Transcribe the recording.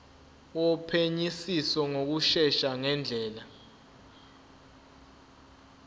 wophenyisiso ngokushesha ngendlela